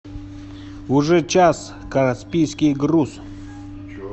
уже час каспийский груз